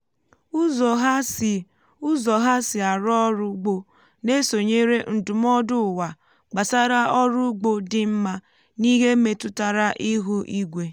ụzọ ha si ụzọ ha si arụ ọrụ ugbo na-esonyere ndụmọdụ ụwa gbasara ọrụ ugbo dị mma n’ihe metụtara ihu igwe.